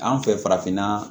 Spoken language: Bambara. An fɛ farafinna